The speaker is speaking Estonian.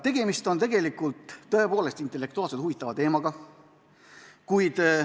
Tegemist on tõepoolest intellektuaalselt huvitava teemaga.